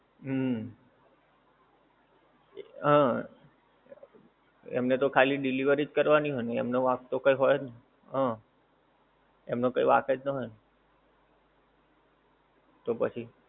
હમ અમ એમને તો ખાલી delivery જ કરવાની હોય ને એમનો વાંક તો કઈ હોય જ નહીં હા એમનો વાંક જ ના હોય ને તો પછી